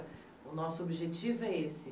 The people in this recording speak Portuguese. O nosso objetivo é esse.